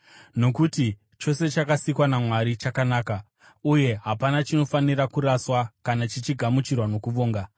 Nokuti chose chakasikwa naMwari chakanaka, uye hapana chinofanira kuraswa kana chichigamuchirwa nokuvonga,